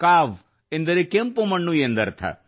ಕಾವ್ ಎಂದರೆ ಕೆಂಪು ಮಣ್ಣು ಎಂದರ್ಥ